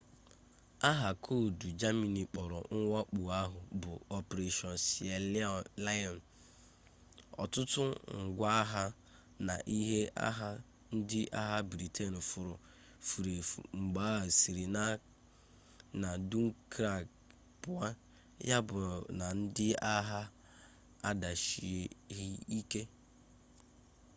aha koodu germany kpọrọ mwakpo ahụ bụ operation sealion ọtụtụ ngwa agha na ihe agha ndị agha britain furu efu mgbe ha siri na dunkirk pụọ yabụ na ndị agha adịchaghị ike